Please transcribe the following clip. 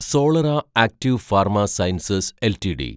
Solara active pharma sciences LTD